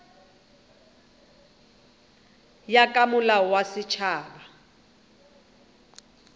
ya ka molao wa setšhaba